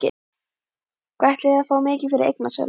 Hvað ætliði að fá mikið fyrir eignasölu?